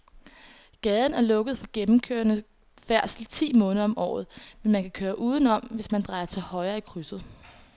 Gaden er lukket for gennemgående færdsel ti måneder om året, men man kan køre udenom, hvis man drejer til højre i krydset.